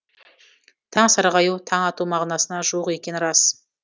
таң сарғаю таң ату мағынасына жуық екені рас